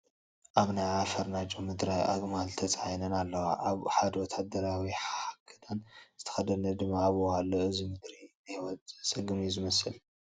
ኣብ ናይ ዓፋር ናይ ጨው ምድረ ኣግማል ተፃዒነን ኣለዋ፡፡ ሓደ ወታደራዊ ክዳን ዝተኸደነ ድማ ኣብኡ ኣሎ፡፡ እዚ ምድሪ ንሂወት ዘፀግም እዩ ዝመስል፡፡